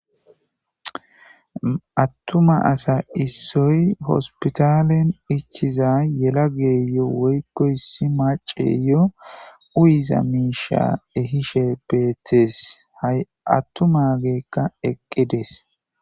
Attuma asa issoy hospitalen ichiza yelageyo woykko issi maceyo uyiza miisha ehishe beetees. Ha attumagekka eqqidees.